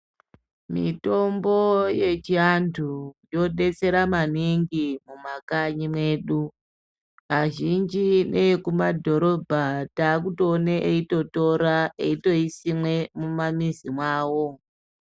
Mitombo yechiantu yodetsera maningi muma kanyi mwedu. Azhinji neekumadhorobha takutoona eitotora aitoisime mumamizi mwawo.